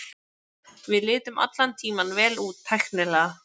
Við litum allan tímann vel út tæknilega.